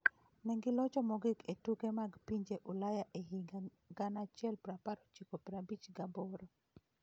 Ne gilocho mogik e tuke mag pinje Ulaya e higa 1958.